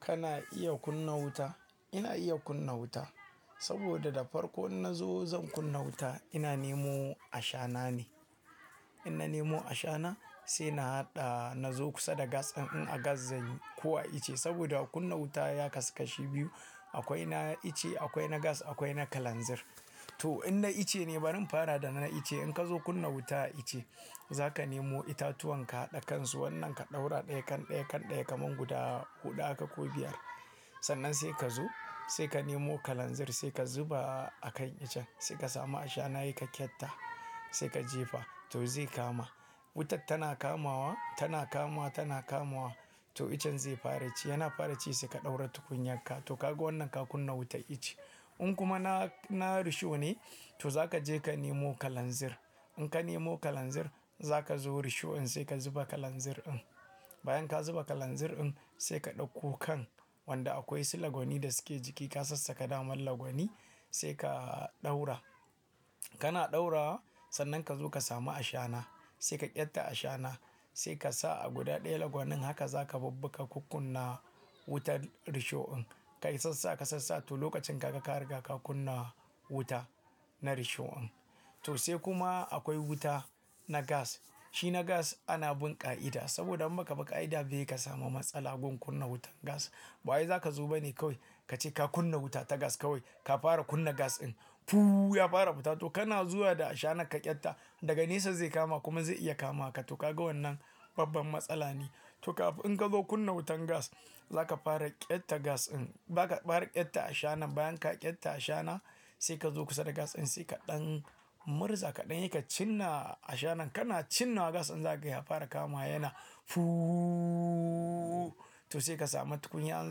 Kana iya kunna wuta? Ina iya kunna wuta saboda da farko in na zo zan kunna wuta, ina nemo ashana ne. In na nemo ashana sai na haɗa, na zo kusa da gas ɗin. In a gas zanyi ko a ice saboda akunna wuta ya kasashe biyu. Akwai na ice, akwai na gas akwai na kalanzir. To in na ice ne bari in fara da na ice. In ka zo kunna wuta ice, za ka nemo itatuwan ka haɗa kansu. Wannan ka ɗaura ɗaya kan ɗaya kan ɗaya kamar guda huɗu aka ko biyar. Sannan sai ka zo sai ka nemo kalanzir sai ka zuba a kan icen sai ka samu ashana yaka kyatta sai ka jefa. To zai kama. Wutar tana kamawa, tana kamawa, tana kamawa to icen zai fara ci. Yana fara ci sai ka ɗaura tukunya ka. To kaga wannan ka kunna wutar ice. In kuma na, na risho ne, to za ka je ka nemo kalanzir. In ka nemo kalanzir za ka zo risho in sai ka zuba kalanzir in. Bayan ka zuba kalanzir in sai ka ɗauko kan wanda akwai su lagwani da suke jiki ka sassaka daman lagwani sai ka ɗaura. Kana ɗaura sannan ka zo ka samu ashana sai ka ƙyatta ashana sai ka sa a guda ɗaya lagwanin haka za ka babbaka ka kunna wutar risho in. Ka yi sassa, ka yi sassa to lokacin haka ka riga ka kunna wuta na risho in. To sai kuma akwai wuta na gas. Shi na gas ana bin ƙa'ida saboda in baka bi ƙa'ida ba yake ka samu matsala gun kunna wutan gas. Bayi za ka zuba ne kawai kace ka kunna wuta ta gas kawai ka fara kunna gas in ya fara fita. To kana zuwa da ashana ka ƙyatta daga nesa zai kama kuma zai iya kama ka. To kaga wannan babban matsala ne. To kafin in ka zo kunna wutan gas, za ka fara ƙyatta gas in. Baka fara ƙyatta ashana bayan ka ƙyatta ashana sai ka zo kusa da gas in sai kaɗan murza kaɗan yayi ka cinna ashana. Kana cinna gas in zagaye ya fara kama yana. To sai ka samu tukunya in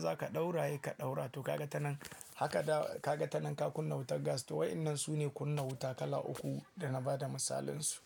za ka ɗaura yake ka ɗaura. To kaga ta nan haka ka kaga ta nan ka kunna wutar gas. To waenan sune kunna wuta kala uku da na bada misalin su.